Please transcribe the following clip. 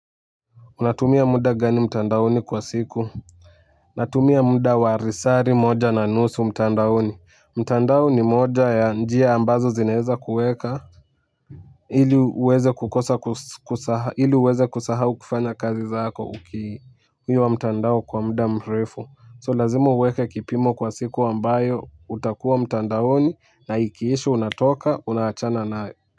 Unatumia muda gani mtandaoni kwa siku? Natumia muda warisari moja na nusu mtandaoni. Mtandaoni moja ya njia ambazo zineza kueka. Hili uweze kukosa kusaha hili uweze kusahau kufanya kazi zako ukii. Huyo wa mtandao kwa mda mrefu. So lazima uweka kipimo kwa siku ambayo utakuwa mtandaoni na ikiisha unatoka unaachana nayo.